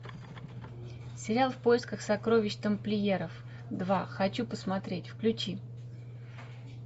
сериал в поисках сокровищ тамплиеров два хочу посмотреть включи